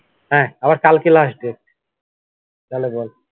হ্যা আবার কালকে last date তাহলে বল